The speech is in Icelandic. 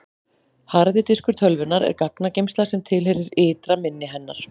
harði diskur tölvunnar er gagnageymsla sem tilheyrir ytra minni hennar